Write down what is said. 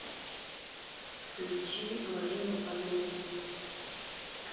включи марину алиеву